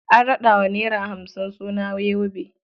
An raɗa wa naira hamsin suna yobe.